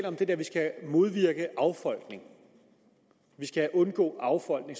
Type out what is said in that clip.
om at vi skal modvirke affolkning at vi skal undgå affolkning